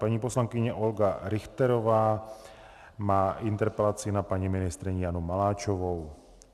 Paní poslankyně Olga Richterová má interpelaci na paní ministryni Janu Maláčovou.